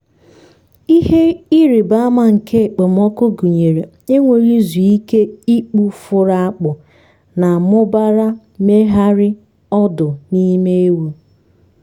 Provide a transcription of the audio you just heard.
ihe ịrịba ama nke okpomọkụ gụnyere enweghị izu ike ikpu furu akpụ na mụbara mmegharị ọdụ n’ime ewu.